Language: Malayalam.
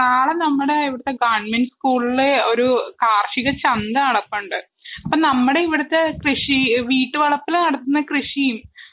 നാളെ നമ്മുടെ ഇവിടുത്തെ ഗവണ്മെന്റ് സ്കൂളില്ഒരു കാർഷിക ചന്ത നടപ്പുണ്ട്. അപ്പൊ നമ്മുടെ ഇവിടുത്തെ കൃഷി വീട്ടുവളപ്പില് നടത്തുന്ന കൃഷിയും.